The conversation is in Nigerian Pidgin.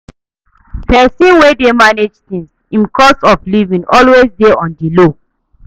Pesin wey dey manage things, im cost of livin always dey on di low.